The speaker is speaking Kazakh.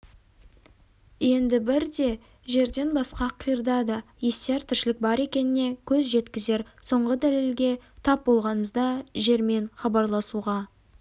енді бірде жерден басқа қиырда да естияр тіршілік бар екеніне көз жеткізер соңғы дәлелге тап болғанымызда жермен хабарласуға